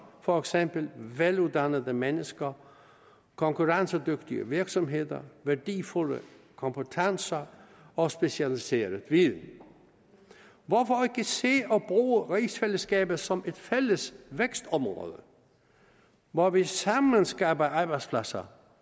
for eksempel veluddannede mennesker konkurrencedygtige virksomheder værdifulde kompetencer og specialiseret viden hvorfor ikke se og bruge rigsfællesskabet som et fælles vækstområde hvor vi sammen skaber arbejdspladser